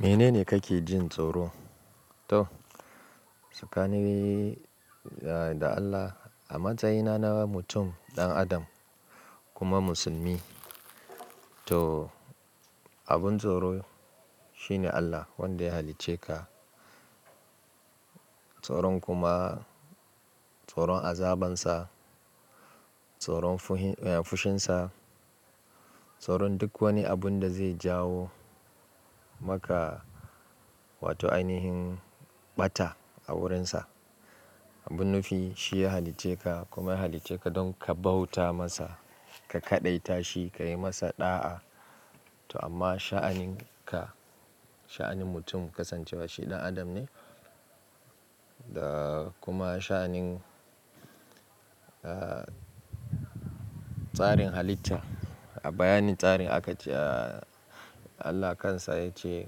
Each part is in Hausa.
Mene ne kake jin tsoro? To, tsakanina da Allah a matsayina na mutum ɗan adam kuma musulmi. To, abin tsoro shine Allah wanda ya halicce ka. Tsoron kuma tsoron azabansa, tsoron fushinsa, tsoron duk wani abun da zai jawo maka wato ainihin ɓata a wurinsa. Abin nufi shi ya halicce ka kuma ya halicce ka don ka bauta masa, ka kaɗaita shi, ka yi masa ɗa'a. To amma sha'anin ka, sha'anin mutum kasancewa shi ɗan adam ne da kuma sha'anin, ah, tsarin halitta. A bayanin tsarin aka ce Allah kansa ya ce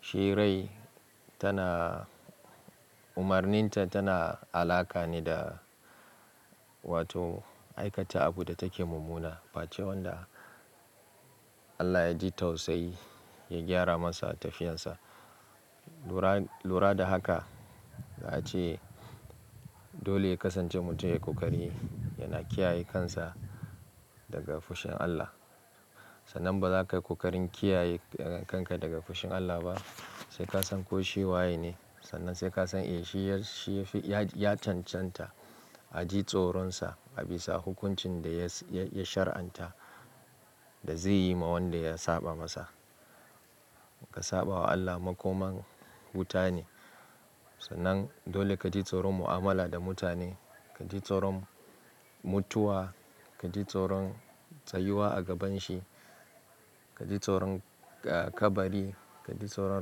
shi rai tana umarninta tana alaƙa ne da wato aikata abu da take mummuna. Face wanda Allah ya ji tausayi ya gyara masa tafiyarsa. Lura, lura da haka za a ce dole ya kasance mutum ya yi ƙoƙari yana kiyaye kansa daga fushin Allah. Sannan ba za ka yi ƙoƙarin kiyaye kanka daga fushin Allah ba sai ka san ko shi waye ne. Sannan sai ka san eh shi ya, shi ya fi, ya cancanta a ji tsoronsa, a bisa hukuncin da ya, ya shari'anta da zai yi ma wanda ya saba masa. Ka saba wa Allah makoman wuta ne. Sannan dole ka ji tsoron mu'amala da mutane, ka ji tsoron mutuwa, ka ji tsoron tsayuwa a gabanshi, ka ji tsoron kabari, ka ji tsoron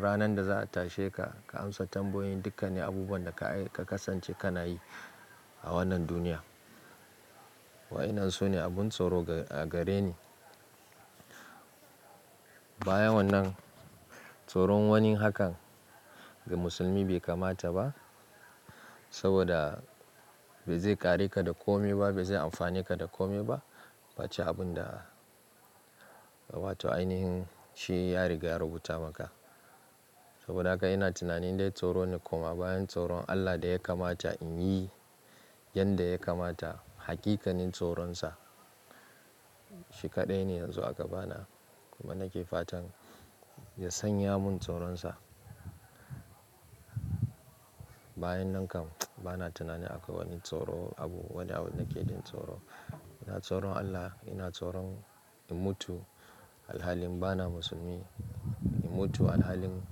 ranar da za a tashe ka, ka amsa tambayoyin. Dukka ne abubuwan da ka kasance ka na yi a wannan duniya. Wa'inan su ne abin tsoro a gare ni. Bayan wannan tsoron wani hakan ga musulmi bai kamata ba saboda ba zai kare ka da kome ba, bai zai amfane ka da kome ba. Face abun da wato ainihin shi ya riga ya rubuta maka. Saboda haka ina tunanin dai tsoro ne kuma bayan tsoron Allah da ya kamata in yi yanda ya kamata, haƙiƙanin tsoronsa shi kaɗai ne yanzu a gabana kuma nake fatan ya sanya mun tsoronsa. Bayan nan kam bana tunanin akwai wani tsoro abu wanda abun nake jin tsoro. Ina tsoron Allah, ina tsoron in mutu alhalin bana musulmi, in mutu alhalin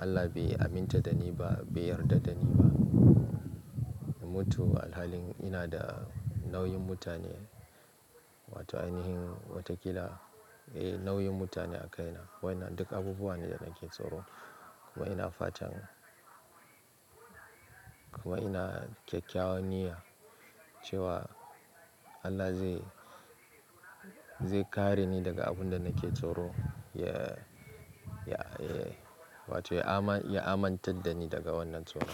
Allah bai aminta da ni ba, bai yarda da ni ba. In mutu alhalin ina da nauyin mutane wato ainihin watakila eh nauyin mutane a kai na. Wa'inan duk abubuwa ne da nake tsoro kuma ina fatan, kuma ina kyakkyawan niyya cewa Allah zai, zai kare ni daga abun da nake tsoro. Ya, ya, wato ya amanta da ni daga wannan tsoro.